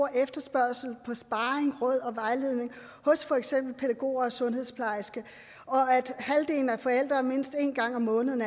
efterspørgsel på sparring råd og vejledning hos for eksempel pædagoger og sundhedsplejersker og at halvdelen af forældrene mindst en gang om måneden